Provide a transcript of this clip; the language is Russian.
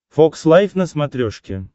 фокс лайв на смотрешке